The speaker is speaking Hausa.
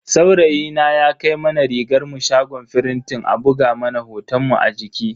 Saurayina ya kai mana rigarmu shagon firintin a buga mana hotonmu a jiki.